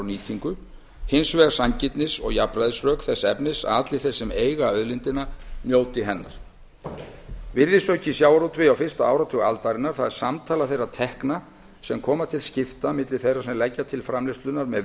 nýtingu hins vegar sanngirnis og jafnræðisrök þess efnis að allir þeir sem eiga auðlindina njóti hennar virðisauki í sjávarútvegi á fyrsta áratug aldarinnar það er samtala þeirra tekna sem verða til skiptanna milli þeirra sem leggja til framleiðslunnar með